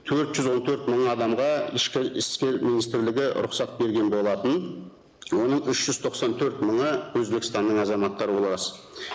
төрт жүз он төрт мың адамға ішкі істер министрлігі рұқсат берген болатын оның үш жүз тоқсан төрт мыңы өзбекстанның азаматтары ол рас